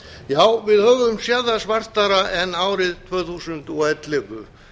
já við höfum séð það svartara en árið tvö þúsund og ellefu